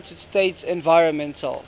united states environmental